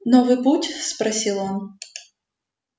новый путь спросил он